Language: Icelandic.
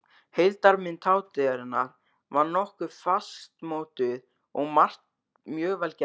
Heildarmynd hátíðarinnar var nokkuð fastmótuð og margt mjög vel gert.